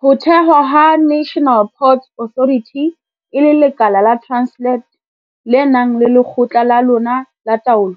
Ho thewa ha National Ports Authority e le lekala la Transnet le nang le lekgotla la lona la taolo,